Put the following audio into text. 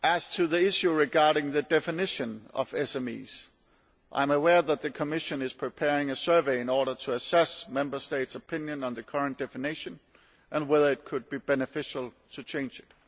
On the matter of the definition of SMEs, I am aware that the Commission is preparing a survey to assess Member States' opinions on the current definition and whether it could be beneficial to change it.